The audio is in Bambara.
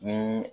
Ni